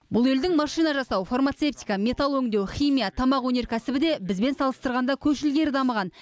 бұл елдің машина жасау фармацевтика металл өңдеу химия тамақ өнеркәсібі де бізбен салыстырғанда көш ілгері дамыған